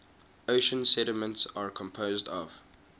ocean sediments are composed of